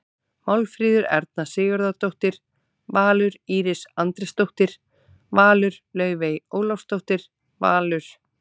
Málfríður Erna Sigurðardóttir- Valur Íris Andrésdóttir- Valur Laufey Ólafsdóttir- Valur